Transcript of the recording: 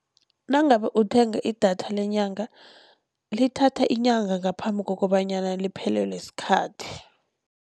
Nangabe uthenga idatha lenyanga lithatha inyanga ngaphambi kokobanyana liphelelwe sikhathi.